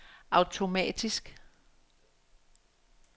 automatisk